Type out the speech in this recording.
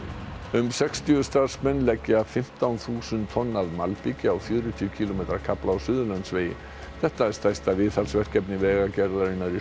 um sextíu starfsmenn leggja fimmtán þúsund tonn af malbiki á fjörutíu kílómetra kafla á Suðurlandsvegi þetta er stærsta viðhaldsverkefni Vegagerðarinnar í